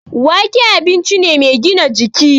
Wake abinci ne mai gina jiki